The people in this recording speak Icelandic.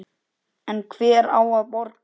En hver á að borga?